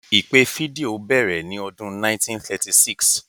Ìpè fídíò bẹ̀rẹ̀ ní ọdún 1936.